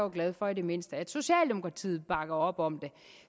glad for at i det mindste socialdemokratiet bakker op om det